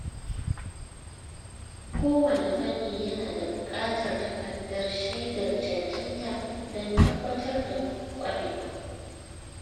Kowane fanni yana da buƙatar takardar shaidar cancanta don tabbatar da ƙwarewa.